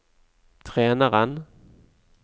treneren